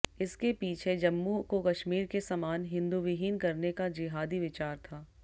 इसके पीछे जम्मू को कश्मीर के समान हिन्दूविहीन करने का जिहादी विचार था